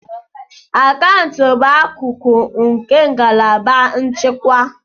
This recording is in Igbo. Akaụntụ bụ akụkụ nke ngalaba nchịkwa.